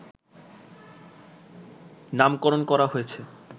নামকরণ করা হয়েছে